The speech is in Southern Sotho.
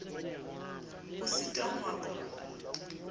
o sitwang ho a qoba